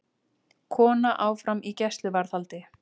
Kona áfram í gæsluvarðhaldi